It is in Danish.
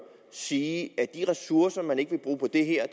sige at de ressourcer man ikke vil bruge på det her